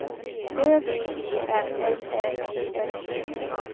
Ö V E R L Ä G S E T